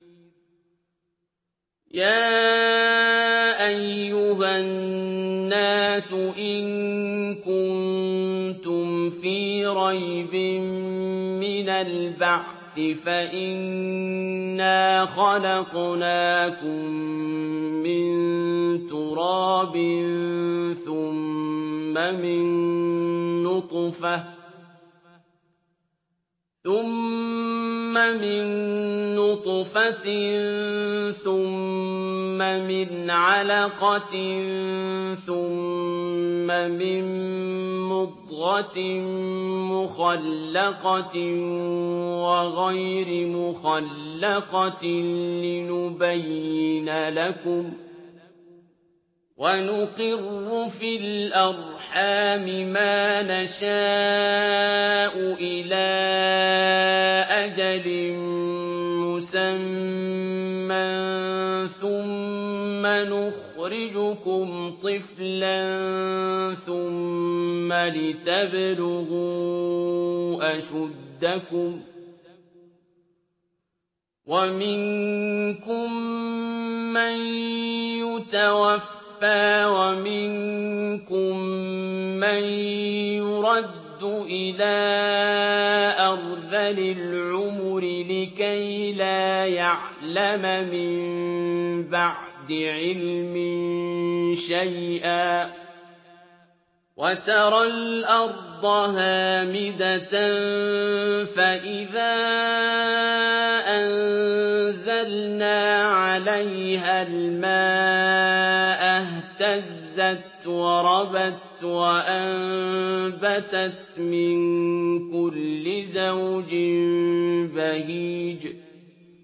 يَا أَيُّهَا النَّاسُ إِن كُنتُمْ فِي رَيْبٍ مِّنَ الْبَعْثِ فَإِنَّا خَلَقْنَاكُم مِّن تُرَابٍ ثُمَّ مِن نُّطْفَةٍ ثُمَّ مِنْ عَلَقَةٍ ثُمَّ مِن مُّضْغَةٍ مُّخَلَّقَةٍ وَغَيْرِ مُخَلَّقَةٍ لِّنُبَيِّنَ لَكُمْ ۚ وَنُقِرُّ فِي الْأَرْحَامِ مَا نَشَاءُ إِلَىٰ أَجَلٍ مُّسَمًّى ثُمَّ نُخْرِجُكُمْ طِفْلًا ثُمَّ لِتَبْلُغُوا أَشُدَّكُمْ ۖ وَمِنكُم مَّن يُتَوَفَّىٰ وَمِنكُم مَّن يُرَدُّ إِلَىٰ أَرْذَلِ الْعُمُرِ لِكَيْلَا يَعْلَمَ مِن بَعْدِ عِلْمٍ شَيْئًا ۚ وَتَرَى الْأَرْضَ هَامِدَةً فَإِذَا أَنزَلْنَا عَلَيْهَا الْمَاءَ اهْتَزَّتْ وَرَبَتْ وَأَنبَتَتْ مِن كُلِّ زَوْجٍ بَهِيجٍ